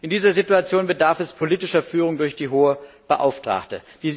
In dieser Situation bedarf es politischer Führung durch die Hohe Beauftragte.